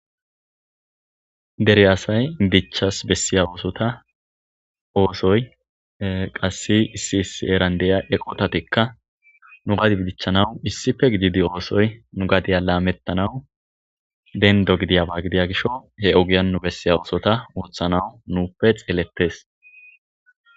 dere asay dichchas bessiya oosota oosoy qassi issi isi heran diya eqotatikka nu gadi bidichchanawu issife gididi oosoy nu gadiya laamettanawu dendo gidiyaba gidiya gisho he ogiyannu bessiya oosota wurthanawu nuuppe xeelettes